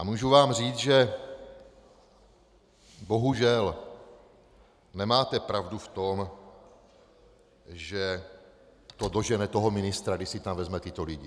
A mohu vám říct, že bohužel nemáte pravdu v tom, že to dožene toho ministra, když si tam vezme tyto lidi.